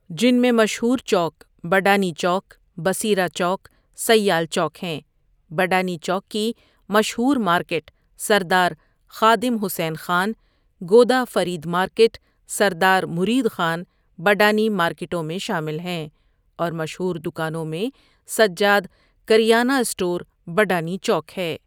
جن میں مشہورچوک بڈانی چوک، بصیرہ چوک، سیال چوک ہیں، بڈانی چوک کی مشہورمارکیٹ سردارخادم حسین خان، گودافریدمارکیٹ، سردارمریدخان بڈانی مارکیٹوں میں شامل ہیں اورمشہوردوکانوں میں سجادکریانہ سٹوربڈانی چوک ہے۔